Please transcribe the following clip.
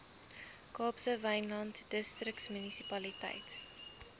kaapse wynland distriksmunisipaliteit